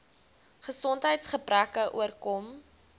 gesondheids gebreke oorkom